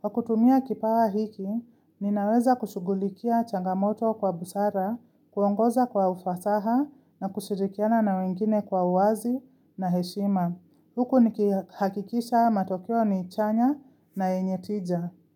Kwa kutumia kipawa hiki, ninaweza kushugulikia changamoto kwa busara, kuongoza kwa ufasaha na kushirikiana na wengine kwa uwazi na heshima. Huku nikihakikisha matokeo ni chanya na yenye tija.